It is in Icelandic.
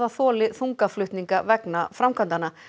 þoli þungaflutninga vegna framkvæmdanna